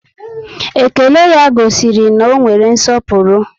Ékélé ya gosiri na ọ nwere nsọpụrụ